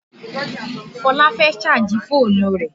Fola fẹ́ sáàjì fọ́ọ̀nù rẹ̀